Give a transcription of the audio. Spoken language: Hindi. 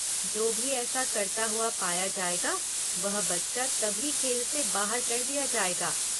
जो भी ऐसा करता हुआ पाया जाएगा वह बच्चा तभी खेल से बाहर कर दिया जाएगा।